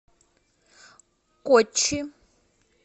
коччи